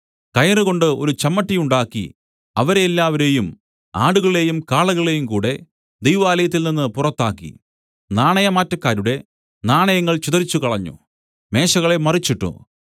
കയറുകൊണ്ട് ഒരു ചമ്മട്ടി ഉണ്ടാക്കി അവരെല്ലാവരെയും ആടുകളെയും കാളകളെയുംകൂടെ ദൈവാലയത്തിൽനിന്ന് പുറത്താക്കി നാണയമാറ്റക്കാരുടെ നാണയങ്ങൾ ചിതറിച്ചുകളഞ്ഞു മേശകളെ മറിച്ചിട്ടു